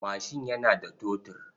Mashin yana da totur.